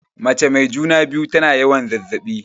Mace mai juna-biyu tana yawan zazzaɓi.